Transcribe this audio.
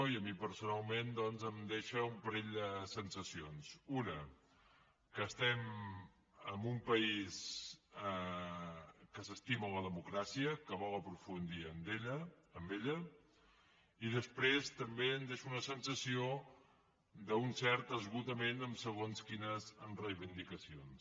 i a mi personalment em deixa un parell de sensacions una que estem en un país que s’estima la democràcia que hi vol aprofundir i després també em deixa una sensació d’un cert esgotament en segons quines reivindicacions